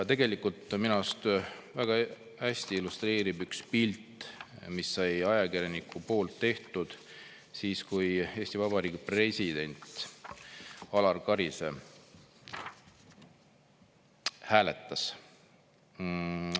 Tegelikult olukorda minu arust väga hästi illustreerib üks pilt, mille ajakirjanik tegi siis, kui Eesti Vabariigi president Alar Karis hääletas.